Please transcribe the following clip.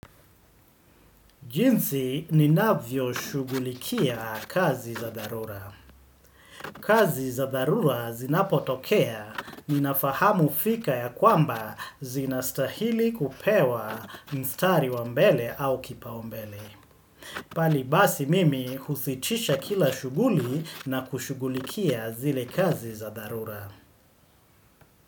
Jinsi ni navyo shugulikia kazi za dharura. Kazi za dharura zinapotokea ni nafahamu fika ya kwamba zinastahili kupewa mstari wa mbele au kipaumbele. Pali basi mimi husitisha kila shuguli na kushugulikia zile kazi za dharura.